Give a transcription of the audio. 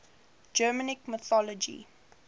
germanic mythology